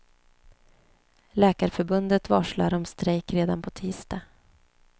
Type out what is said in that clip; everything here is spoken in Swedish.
Läkarförbundet varslar om strejk redan på tisdag.